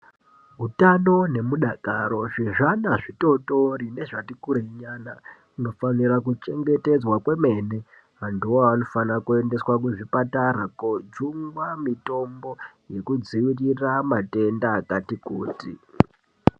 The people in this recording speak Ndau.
Utano nemudakaro zvezvana zvitootori nezvati kureinyana hunofanira kuchengetedzwa kwemene. Vantuvo avavo vanofanira kuendeswa kuzvipatara koojungwa mitombo yekudzivirira matenda akati kuti.